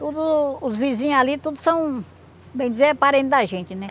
Tudo os vizinhos ali, tudo são, bem dizer, é parente da gente, né?